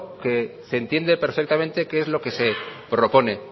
que se entiende perfectamente qué es lo que se propone